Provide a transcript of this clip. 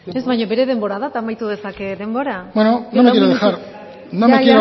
ez baina bere denbora da eta amaitu dezake denbora bueno yo